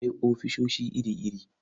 Akwai ofisoshi iri-iri.